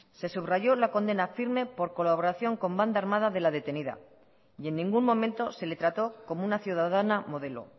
se subrayó la condena firme por colaboración con banda armada de la detenida y en ningún momento se le trató como una ciudadana modelo